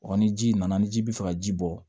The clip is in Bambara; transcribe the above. Ɔ ni ji nana ni ji bɛ fɛ ka ji bɔ